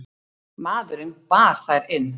Maðurinn bar þær inn.